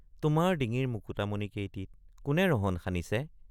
তোমাৰ ডিঙিৰ মুকুতামণি কেইটিত কোনে ৰহণ সানিছে।